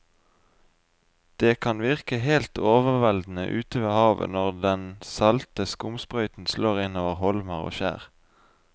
Det kan virke helt overveldende ute ved havet når den salte skumsprøyten slår innover holmer og skjær.